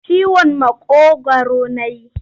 Ciwon maƙogwaru na yi.